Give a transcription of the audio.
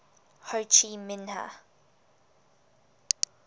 ho chi minh